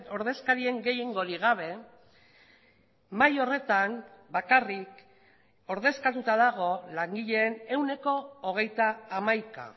ordezkarien gehiengorik gabe mahai horretan bakarrik ordezkatuta dago langileen ehuneko hogeita hamaika